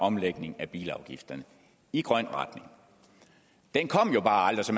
omlægning af bilafgifterne i grøn retning den kom jo bare aldrig så